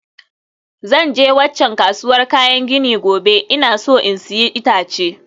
Zan je waccan kasuwar kayan gini gobe, ina so in sayi itace